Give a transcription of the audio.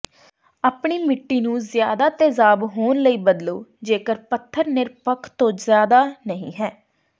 ਆਪਣੀ ਮਿੱਟੀ ਨੂੰ ਜ਼ਿਆਦਾ ਤੇਜ਼ਾਬ ਹੋਣ ਲਈ ਬਦਲੋ ਜੇਕਰ ਪਥਰ ਨਿਰਪੱਖ ਤੋਂ ਜ਼ਿਆਦਾ ਨਹੀਂ ਹੈ